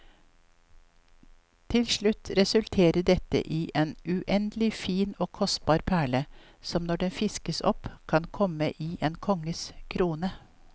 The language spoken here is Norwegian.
Til slutt resulterer dette i en uendelig fin og kostelig perle, som når den fiskes opp kan komme i en konges krone.